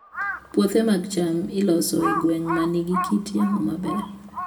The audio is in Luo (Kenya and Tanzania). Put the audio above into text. Puothe mag cham iloso e gwenge ma nigi kit yamo maber.